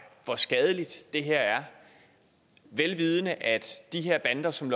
hvor skadeligt det her er vel vidende at de her bander som